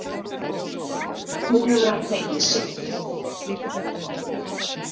Nú hefur hann fengið sitt.